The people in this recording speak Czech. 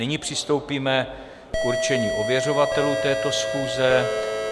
Nyní přistoupíme k určení ověřovatelů této schůze.